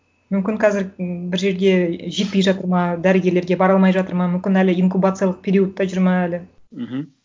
мүмкін қазір м бір жерге жетпей жатыр ма дәрігерлерге бара алмай жатыр ма мүмкін әлі инкубациялық периодта жүр ма әлі мхм